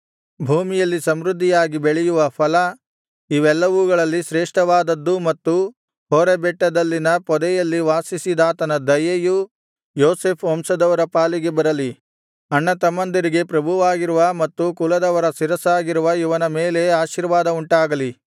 ಭೂಮಿಯಲ್ಲಿ ಸಮೃದ್ಧಿಯಾಗಿ ಬೆಳೆಯುವ ಫಲ ಇವೆಲ್ಲವುಗಳಲ್ಲಿ ಶ್ರೇಷ್ಠವಾದದ್ದೂ ಮತ್ತು ಹೋರೇಬ್ ಬೆಟ್ಟದಲ್ಲಿನ ಪೊದೆಯಲ್ಲಿ ವಾಸಿಸಿದಾತನ ದಯೆಯೂ ಯೋಸೇಫ್ ವಂಶದವರ ಪಾಲಿಗೆ ಬರಲಿ ಅಣ್ಣತಮ್ಮಂದಿರಿಗೆ ಪ್ರಭುವಾಗಿರುವ ಮತ್ತು ಕುಲದವರ ಶಿರಸ್ಸಾಗಿರುವ ಇವನ ಮೇಲೆ ಆಶೀರ್ವಾದ ಉಂಟಾಗಲಿ